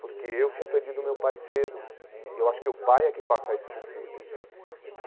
Porque eu tinha perdido meu pai cedo e eu acho que o pai é que passa isso para o filho e.